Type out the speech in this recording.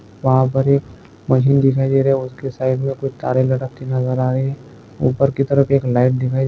वहा पर एक मशीन दिखाई दे रही है उसके साइड मे कुछ तारे लटकती नजर आ रही है ऊपर की तरफ एक लाइट दिखाई --